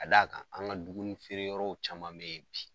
Ka d'a kan, an ka dumuni feere yɔrɔw caman be yen bi